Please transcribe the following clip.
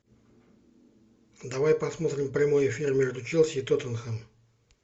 давай посмотрим прямой эфир между челси и тоттенхэм